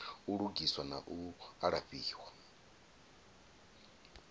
u lugiswa na u alafhiwa